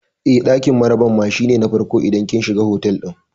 Eh, ɗakin maraban ma shi ne na farko idan kin shiga otal ɗin